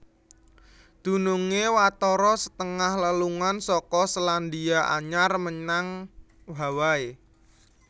Dunungé watara setengah lelungan saka Selandia Anyar menyang Hawaii